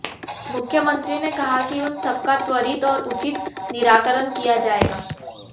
मुख्यमंत्री ने कहा कि उन सबका त्वरित और उचित निराकरण किया जाएगा